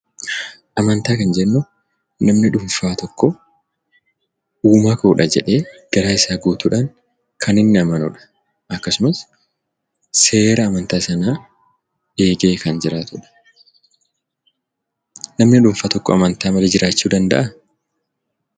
Amantaa kan jennu namni dhuunfaa tokko uumaa koodha jedhee garaasaa guutuudhaan kan inni amanudha akkasumasseera amantaa sanaa eegee kan jiraatudha. Nani dhuunfaa tokko amantaa malee jiraachuu danda'aa?